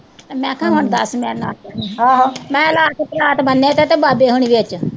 ਮੈਂ ਕਿਆ ਹੁਣ ਦੱਸ ਮੈਂ ਮੈਂ ਕਿਆ ਰੱਖ ਪਰਾਤ ਬੰਨੇ ਤੇ ਵੱਜ ਹੁਣ ਵਿੱਚ